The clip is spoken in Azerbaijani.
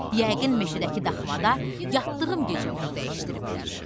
Yəqin meşədəki daxmada yatdığım gecə onu dəyişdiriblər.